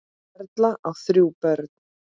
Erla á þrjú börn.